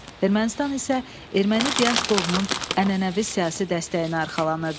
Ermənistan isə erməni diasporunun ənənəvi siyasi dəstəyinə arxalanırdı.